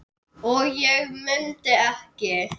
og ég mundi ekki.